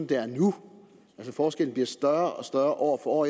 det er nu forskellen bliver større og større år for år